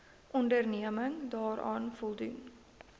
onderneming daaraan voldoen